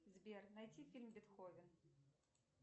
сбер найти фильм бетховен